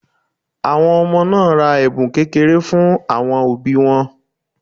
Àwọn ọmọ náà ra ẹ̀bùn kékeré fún àwọn òbí wọn